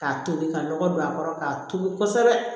K'a tobi ka lɔgɔ don a kɔrɔ k'a tobi kosɛbɛ